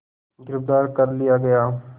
गिरफ़्तार कर लिया गया